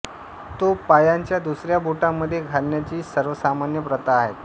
तो पायाच्या दुसऱ्या बोटामध्ये घालण्याची सर्वसामान्य प्रथा आहे